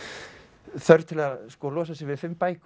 þörf til að losa sig við fimm bækur